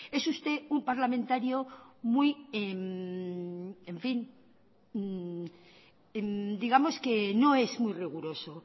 es usted un parlamentario muy en fin digamos que no es muy riguroso